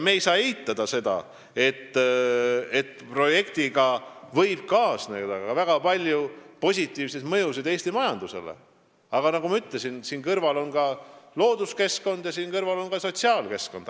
Me ei saa eitada ka seda, et projektiga võib kaasneda väga palju positiivseid mõjusid Eesti majandusele, aga nagu ma ütlesin, siin kõrval on looduskeskkond ja siin kõrval on ka sotsiaalkeskkond.